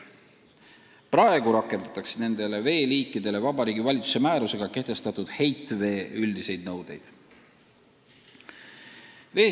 Praegu rakendatakse nende veeliikide puhul Vabariigi Valitsuse määrusega kehtestatud üldiseid nõudeid heitveele.